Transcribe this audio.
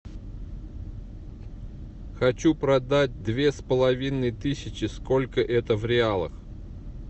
хочу продать две с половиной тысячи сколько это в реалах